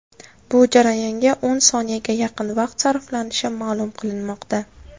Bu jarayonga o‘n soniyaga yaqin vaqt sarflanishi ma’lum qilinmoqda.